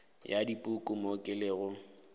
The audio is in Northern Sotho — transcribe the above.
ya dipuku mo ke lego